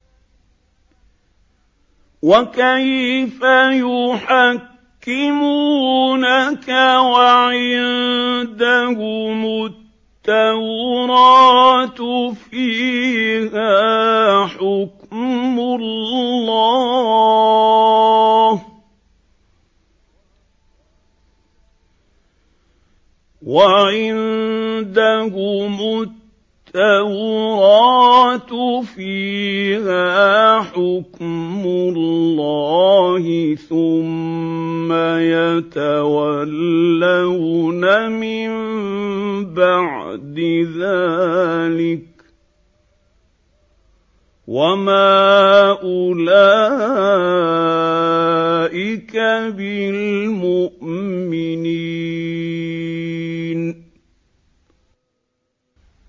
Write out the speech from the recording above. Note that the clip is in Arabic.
وَكَيْفَ يُحَكِّمُونَكَ وَعِندَهُمُ التَّوْرَاةُ فِيهَا حُكْمُ اللَّهِ ثُمَّ يَتَوَلَّوْنَ مِن بَعْدِ ذَٰلِكَ ۚ وَمَا أُولَٰئِكَ بِالْمُؤْمِنِينَ